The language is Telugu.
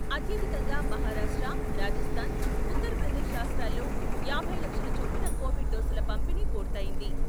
అత్యధికంగా మహారాష్ట్ర, రాజస్థాన్, ఉత్తరప్రదేశ్ రాష్ట్రాల్లోయాభై లక్షల చొప్పున కొవిడ్ డోసుల పంపిణీ పూర్తయ్యింది.